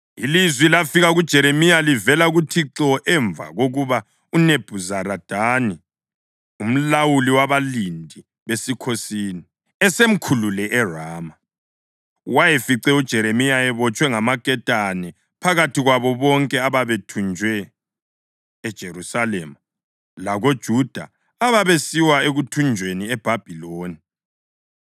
Ilizwi lafika kuJeremiya livela kuThixo emva kokuba uNebhuzaradani umlawuli wabalindi besikhosini, esemkhulule eRama. Wayefice uJeremiya ebotshwe ngamaketane phakathi kwabo bonke ababethunjwe eJerusalema lakoJuda ababesiwa ekuthunjweni eBhabhiloni.